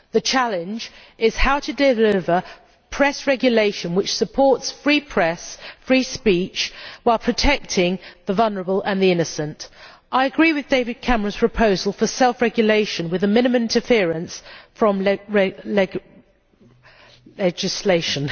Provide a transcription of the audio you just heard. The challenge is how to deliver press regulation which supports a free press and free speech, while protecting the vulnerable and the innocent. I agree with David Cameron's proposal for self regulation with a minimum of interference from legislation.